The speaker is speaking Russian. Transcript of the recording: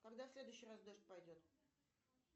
когда в следующий раз дождь пойдет